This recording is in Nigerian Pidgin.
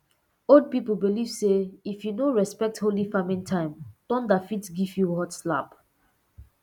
old people believe say if you no respect holy farming time thunder fit give you hot slap